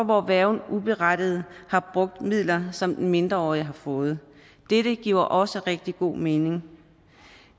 hvor værgen uberettiget har brugt midler som den mindreårige har fået dette giver også rigtig god mening